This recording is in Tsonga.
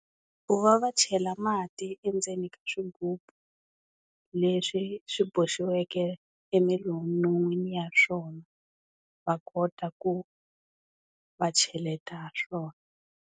Ku va va chela mati endzeni ka swigubu leswi swi boxiweke emilolweni ya swona va kota ku va cheleta ha swona.